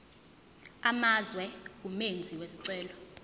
amazwe umenzi wesicelo